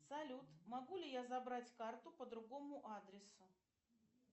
салют могу ли я забрать карту по другому адресу